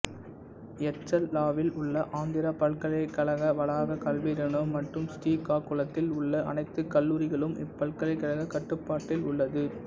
எச்சர்லாவில் உள்ள ஆந்திரா பல்கலைக்கழக வளாக கல்வி நிறுவனம் மற்றும் ஸ்ரீகாகுளத்தில் உள்ள அனைத்து கல்லூரிகளும் இப்பல்கலைக்கழக கட்டுப்பாட்டில் உள்ளது